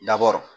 Dabɔr